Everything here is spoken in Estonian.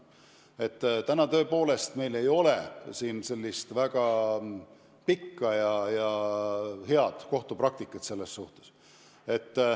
Seni meil tõepoolest ei ole siin selles osas väga pikka ja head kohtupraktikat.